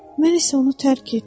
Mən isə onu tərk etdim.